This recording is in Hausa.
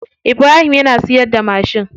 Ibrahim yana siyarda mashin.